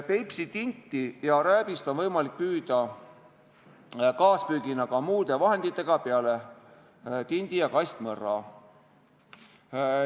Peipsi tinti ja rääbist on võimalik püüda kaaspüügina ka muude vahenditega peale tindi- ja kastmõrra.